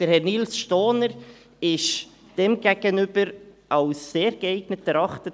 Herr Nils Stohner wurde demgegenüber als «sehr geeignet» erachtet.